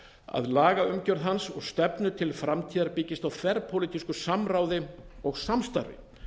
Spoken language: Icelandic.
að lagaumgjörð hans og stefnu til framtíðar byggist á þverpólitísku samráði og samstarfi